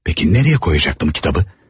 Peki, nəriyə qoyacaqdım kitabı?